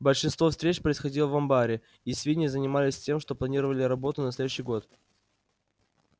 большинство встреч происходило в амбаре и свиньи занимались тем что планировали работу на следующий год